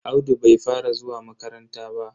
Audu bai fara zuwa makaranta ba.